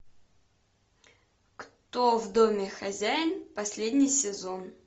кто в доме хозяин последний сезон